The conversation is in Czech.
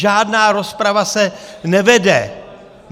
Žádná rozprava se nevede.